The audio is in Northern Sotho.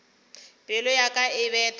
pelo ya ka e betha